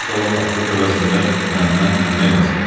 Daha az qalıb açot əvəzində məmmə, məmmə yazım.